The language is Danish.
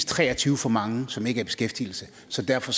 tre og tyve for mange som ikke er i beskæftigelse så derfor